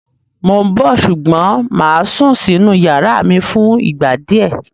Mó ń bọ̀ ṣùgbọ́n mà á sún sínú ìyàrá mi fún ìgbà díẹ̀.